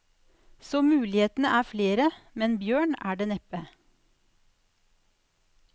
Så mulighetene er flere, men bjørn er det neppe.